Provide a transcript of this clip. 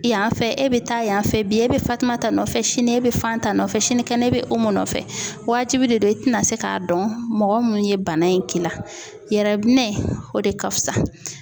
Yan fɛ,e bɛ taa yan fɛ bi ,e bɛ Fatumata nɔfɛ, sini e bɛ Fanta nɔfɛ, sinikɛnɛ bɛ Umu nɔfɛ waajibi de don, i tɛna se k'a dɔn mɔgɔ minnu ye bana in k'i la yɛrɛ, yɛrɛ minɛ, o de ka fusa.